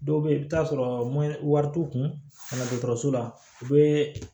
Dɔw bɛ yen i bɛ t'a sɔrɔ wari t'u kun na la u bɛ